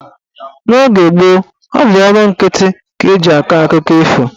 N'oge gboo, ọ bụ ọnụ nkịtị ka eji akọ akụkọ ifo.